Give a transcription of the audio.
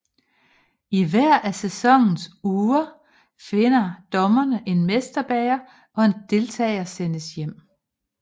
I hver af sæsonens uger finder dommerne en mesterbager og en deltager sendes hjem